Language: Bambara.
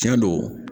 Tiɲɛ don